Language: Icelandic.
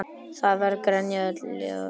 Það var grenjað öll jólin.